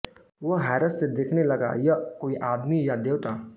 वह हैरत से देखने लगा यह कोई आदमी है या देवता